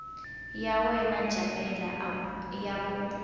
ya yena jamela ya ku